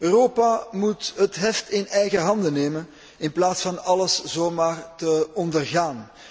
Europa moet het heft in eigen handen nemen in plaats van alles zo maar te ondergaan.